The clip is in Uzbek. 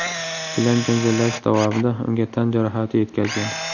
bilan janjallashish davomida unga tan jarohati yetkazgan.